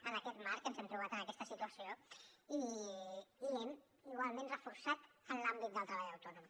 en aquest marc ens hem trobat en aquesta situació i hem igualment reforçat l’àmbit del treballador autònom